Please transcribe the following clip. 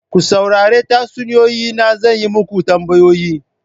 Ku saurari tatsuniyoyi na zan yi muku tambayoyi.